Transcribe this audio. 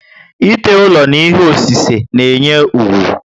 Ite ụlọ na ihe osise na enye úgwú